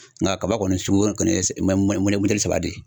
Nka kaba kɔni sugu kɔni